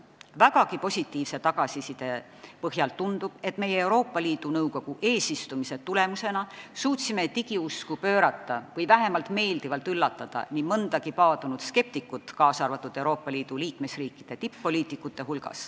Vägagi positiivse tagasiside põhjal tundub, et meie suutsime Euroopa Liidu Nõukogu eesistumise tulemusena digiusku pöörata või vähemalt meeldivalt üllatada nii mõndagi paadunud skeptikut, kaasa arvatud neid, kes kuuluvad Euroopa Liidu liikmesriikide tipp-poliitikute hulka.